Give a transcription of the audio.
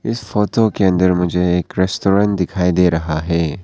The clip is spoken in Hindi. इस फोटो के अंदर मुझे एक रेस्टोरेंट दिखाई दे रहा है।